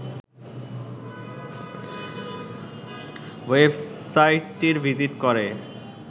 ওয়েবসাইটটি ভিজিট করে